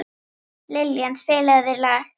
Liljan, spilaðu lag.